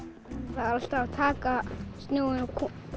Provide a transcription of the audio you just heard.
það er alltaf verið að taka snjóinn og